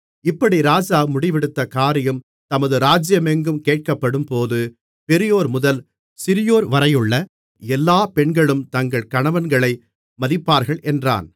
இப்படி ராஜா முடிவெடுத்த காரியம் தமது ராஜ்ஜியமெங்கும் கேட்கப்படும்போது பெரியோர்முதல் சிறியோர்வரையுள்ள எல்லாப் பெண்களும் தங்கள் கணவன்களை மதிப்பார்கள் என்றான்